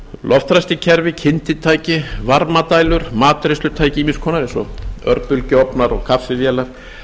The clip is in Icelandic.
loftræsikerfi svo í skjali kynditæki varmadælur matreiðslutæki ýmiss konar eins og örbylgjuofnar og kaffivélar